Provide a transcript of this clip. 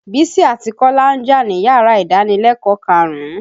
Bísí àti Kọ́lá ń jà níyàrá ìdánilẹ̀kọ̀ọ́ karùn-ún.